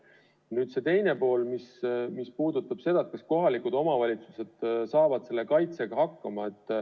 Nüüd küsimuse teine pool, mis puudutas seda, kas kohalikud omavalitsused saavad selle kaitsega hakkama.